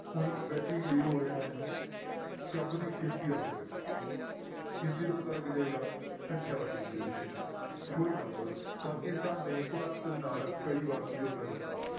ਊਈਂ ਵੈਸੇ ਹੀ clear ਹੋ ਰਿਹਾ ਹੈ ਕੰਮ ਦੀ ਗਿਣਤੀ ਦਾ ਪਤਾ ਲੱਗੇ ਗਿਣਤੀ ਤੋਂ ਪਤਾ ਲੱਗ ਜਾਏਗਾ ਸੰਖਿਆ ਵਾਚਕ ਕਿਰਿਆ ਵਿਸ਼ੇਸ਼ਣ for example ਪਾਕਿਸਤਾਨ ਨੇ ਭਾਰਤ ਨਾਲ ਕਈ ਵਾਰ ਸਮਝੋਤਾ ਕੀਤਾ,